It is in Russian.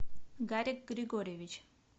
гарик григорьевич